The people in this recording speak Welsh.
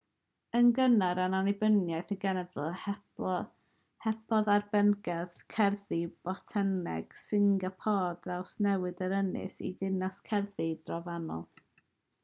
yn gynnar yn annibyniaeth y genedl helpodd arbenigedd gerddi botaneg singapôr drawsnewid yr ynys i ddinas gerddi drofannol